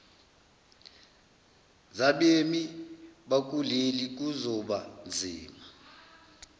zabemi bakuleli kuzobanzima